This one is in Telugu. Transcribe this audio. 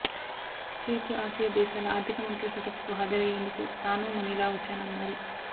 తూర్పు ఆసియా దేశాల ఆర్థిక మంత్రుల సదస్సుకు హాజరయ్యేందుకు తాను మనీలా వచ్చానన్నారు